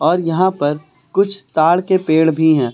और यहां पर कुछ ताड़ के पेड़ भी हैं।